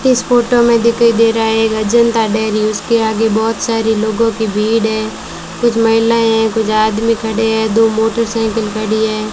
इस फोटो में दिखाई दे रहा है अजंता डेयरी उसके आगे बहोत सारे लोगों की भीड़ है कुछ महिलाएं हैं कुछ आदमी खड़े हैं दो मोटरसाइकिल खड़ी है।